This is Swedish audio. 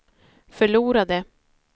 förlorade